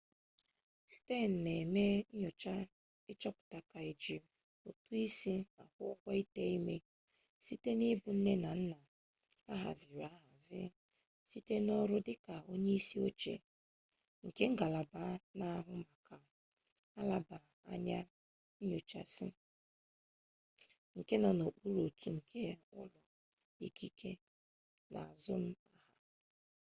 stearns na eme nyocha ichoputa ma eji utu-isi akwu-ugwo ite-ime site na ibu nne na nna ahaziri ahzi site n'oru dika onye-isi-oche nke ngalaba na ahu maka nlaba anya nyochasi nke no n'ukpuru otu nke ulo ikike na azum-aha